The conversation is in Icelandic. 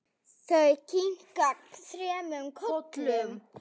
Þau kinka þremur kollum.